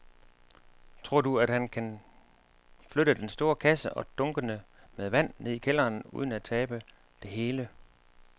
Tror du, at han kan flytte den store kasse og dunkene med vand ned i kælderen uden at tabe det hele?